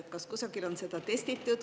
Kas kusagil on seda testitud?